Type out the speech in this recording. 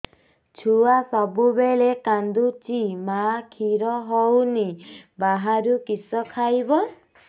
ଛୁଆ ସବୁବେଳେ କାନ୍ଦୁଚି ମା ଖିର ହଉନି ବାହାରୁ କିଷ ଖାଇବ